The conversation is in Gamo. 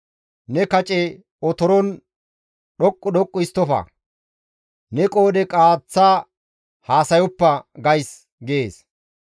Ne kace otoron dhoqqu dhoqqu histtofa; ne qoodhe qaaththa haasayoppa› gays» gees.